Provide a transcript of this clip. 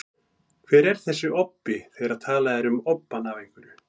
Hver er þessi obbi, þegar talað er um obbann af einhverju?